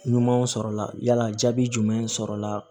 Ɲumanw sɔrɔla yala jaabi jumɛn sɔrɔla